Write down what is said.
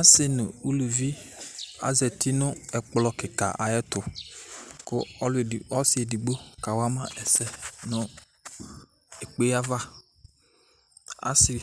Asɩ nʋ uluvi azati nʋ ɛƙplɔ ƙɩƙa aƴɛtʋ ,ƙʋ ɔsɩ eɖigbo ƙa wama ɛsɛ nʋ eƙpe avaAsɩ